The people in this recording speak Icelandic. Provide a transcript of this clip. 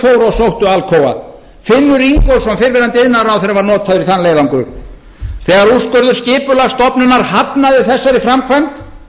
sóttu alcoa finnur ingólfsson fyrrverandi iðnaðarráðherra var notaður í þann leiðangur þegar úrskurður skipulagsstofnunar hafnaði þessari framkvæmd